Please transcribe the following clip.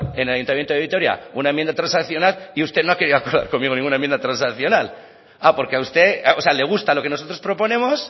en el ayuntamiento de vitoria una enmienda transaccional y usted no ha querido acordar conmigo ninguna enmienda transaccional ah porque a usted o sea le gusta lo que nosotros proponemos